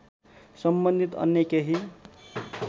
सम्बन्धित अन्य केही